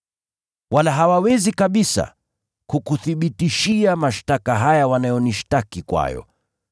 Wala hawawezi kabisa kukuthibitishia mashtaka haya wanayonishtaki kwayo.